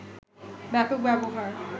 ব্যাপক ব্যবহার